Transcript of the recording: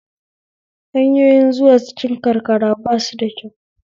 Hanyoyin zuwa cikin karkara basu da kyau